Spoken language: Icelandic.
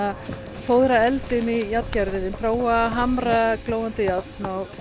fóðra eldinn í prófa að hamra glóandi járn og